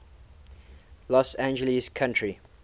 los angeles county